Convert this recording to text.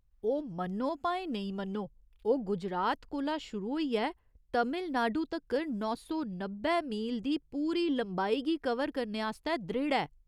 ओह्, मन्नो भाएं नेईं मन्नो, ओह् गुजरात कोला शुरू होइयै तमिलनाडु तक्कर नौ सौ नब्बै मील दी पूरी लंबाई गी कवर करने आस्तै दृढ़ ऐ।